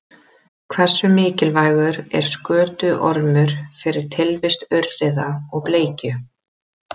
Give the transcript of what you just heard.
Hversu mikilvægur er skötuormur fyrir tilvist urriða og bleikju?